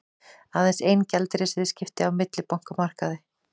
Aðeins ein gjaldeyrisviðskipti á millibankamarkaði